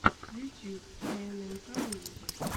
ютюб тнмкмьюзик